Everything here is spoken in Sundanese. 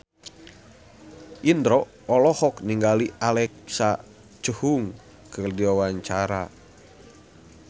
Indro olohok ningali Alexa Chung keur diwawancara